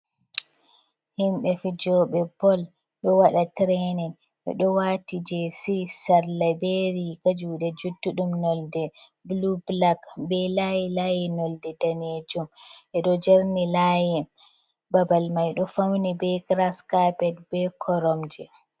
Himɓe fijooɓe bol, ɗo waɗa tiraynin, ɓe ɗo waati jeesi sarla be riiga juuɗe juttuɗum nonnde bulu, bulak be laayi-laayi nonnde daneejum, ɓe ɗo jerni laayi, babal may ɗo fawni be giras kapet be koromje.